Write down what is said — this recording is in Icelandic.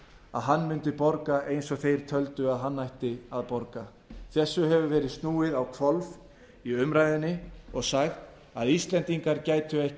að hann mundi borga eins og þeir töldu að hann ætti að borga þessu hefur verið snúið á hvolf í umræðunni og sagt að íslendingar gætu ekki